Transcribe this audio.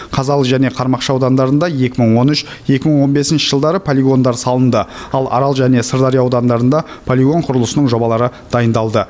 қазалы және қармақшы аудандарында екі мың он үш екі мың он бесінші жылдары полигондар салынды ал арал және сырдария аудандарында полигон құрылысының жобалары дайындалды